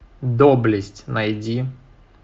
доблесть найди